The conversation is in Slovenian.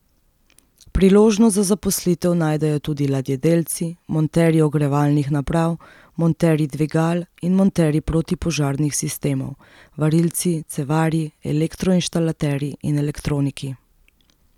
Priložnost za zaposlitev najdejo tudi ladjedelci, monterji ogrevalnih naprav, monterji dvigal in monterji protipožarnih sistemov, varilci, cevarji, elektroinštalaterji in elektroniki.